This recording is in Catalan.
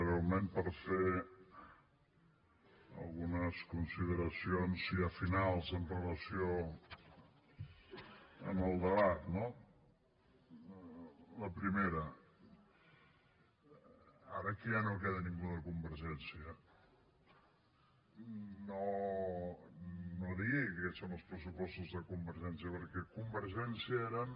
breument per fer algunes consideracions ja finals amb relació al debat no la primera ara que ja no queda ningú de convergència no digui que aquests són els pressupostos de convergència perquè a convergència eren